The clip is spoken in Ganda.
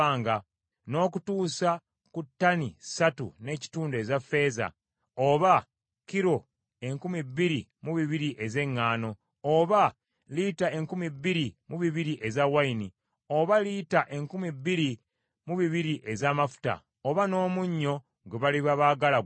n’okutuusa ku ttani ssatu n’ekitundu eza ffeeza, oba kilo enkumi bbiri mu bibiri ez’eŋŋaano, oba lita enkumi bbiri mu bibiri ez’envinnyo, oba lita enkumi bbiri mu bibiri ez’amafuta, oba n’omunnyo gwe baliba baagala gwonna.